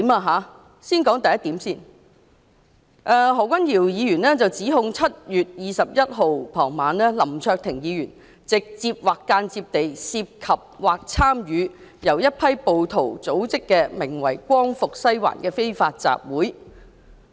何君堯議員指 "2019 年7月21日傍晚，林卓廷議員直接或間接地涉及或參與由一批暴徒組織的名為'光復西環'的非法集會"。